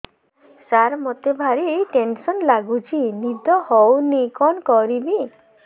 ସାର ମତେ ଭାରି ଟେନ୍ସନ୍ ଲାଗୁଚି ନିଦ ହଉନି କଣ କରିବି